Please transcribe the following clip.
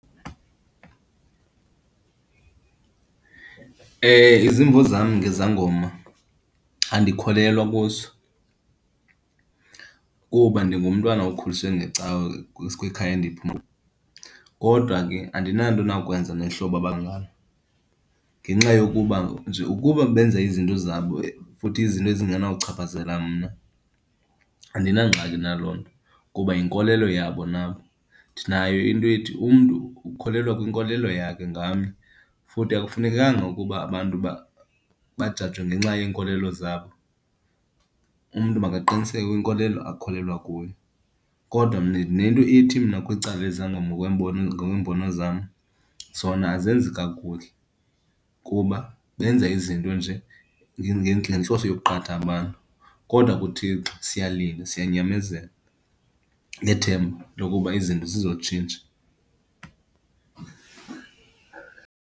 Izimvo zam ngezangoma, andikholelwa kuzo kuba ndingumntwana okhuliswe ngecawe kwikhaya endiphuma, kodwa ke andinanto inakwenza nehlobo abangalo. Ngenxa yokuba nje ukuba benza izinto zabo, futhi izinto ezingenawuchaphazela mna, andinangxaki naloo nto kuba yinkolelo yabo nabo. Ndinayo into ethi umntu ukholelwa kwinkolelo yakhe ngamnye, futhi akufunekanga ukuba abantu bajajwe ngenxa yeenkolelo zabo. Umntu makaqiniseke kwinkolelo akholelwa kuyo. Kodwa ndinento ethi mna kwicala lezangoma ngokweembono zam, zona azenzi kakuhle kuba benza izinto nje ngentloso yokuqhatha abantu. Kodwa kuThixo siyalinda, siyanyamezela, ngethemba lokuba izinto zizotshintsha.